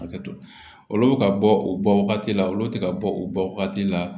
Hakɛto olu bɛ ka bɔ o bɔ wagati la olu tɛ ka bɔ o bɔ wagati la